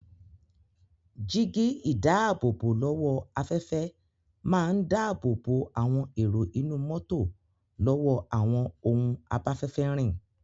Jígí-ìdáàbòbò-lọ́wọ́-afẹ́fẹ́ máa ń dáàbòbò àwọn èrò inú mọ́tò lọ́wọ́ àwọn ohun abáfẹ́fẹ́ rìn.